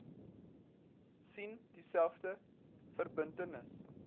sien dieselfde verbintenis